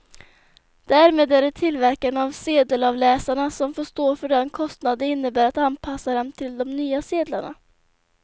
Därmed är det tillverkarna av sedelavläsarna som får stå för den kostnad det innebär att anpassa dem till de nya sedlarna.